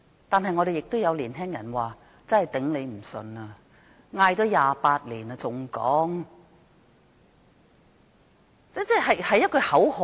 但是，亦有年輕人說，喊了28年，難以再接受這口號。